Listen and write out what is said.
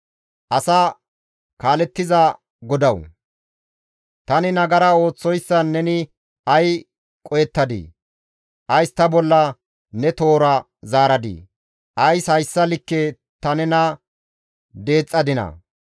Asa kaalettiza Godawu! Tani nagara ooththoyssan neni ay qohettadii? Ays ta bolla ne toora zaaradii? Ays hayssa keena ta nena deexxadinaa?